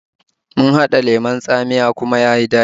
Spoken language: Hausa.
Mun haɗa lemon tsamiya ɗazu kuma ya yi daɗi